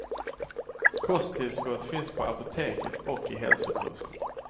Kosttillskott finns på apoteket och i hälsokosten.